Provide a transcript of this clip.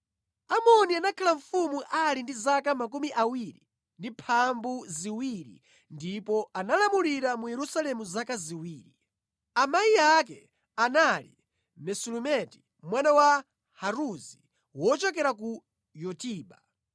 Amoni anakhala mfumu ali ndi zaka 22 ndipo analamulira mu Yerusalemu zaka ziwiri. Amayi ake anali Mesulemeti mwana wa Haruzi, wochokera ku Yotiba.